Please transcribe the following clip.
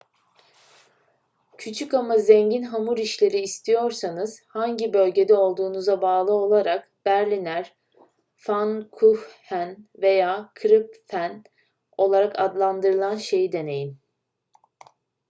küçük ama zengin hamur işleri istiyorsanız hangi bölgede olduğunuza bağlı olarak berliner pfannkuchen veya krapfen olarak adlandırılan şeyi deneyin